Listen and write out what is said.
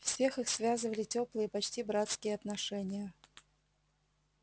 всех их связывали тёплые почти братские отношения